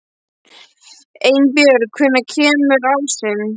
Einbjörg, hvenær kemur ásinn?